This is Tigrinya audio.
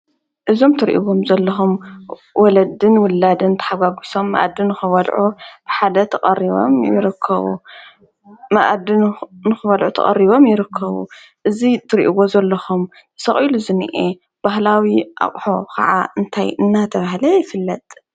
እዞም እትርእዎም ዘለኹም ወለድን ውላድን ተሓጓጉሶም መኣዲ ንክበልዑ ብሓደ ተቀሪቦም ይርከቡ መኣዲ ንክበልዑ ተቀሪቦም ይርከቡ፡፡ እዚ እትሪእዎ ዘለኹም ተሰቒሉ ዝንሄ ባህላዊ ኣቅሑ ከዓ እንታይ እናተባሃለ ይፍለጥ?